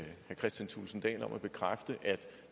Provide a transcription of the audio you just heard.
kristian thulesen dahl om at bekræfte at